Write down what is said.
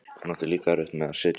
Hún átti líka erfitt með að sitja.